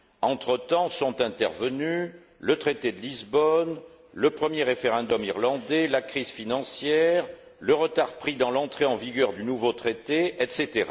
Entre temps sont intervenus le traité de Lisbonne, le premier référendum irlandais, la crise financière, le retard pris dans l'entrée en vigueur du nouveau Traité, etc.